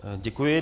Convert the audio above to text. Děkuji.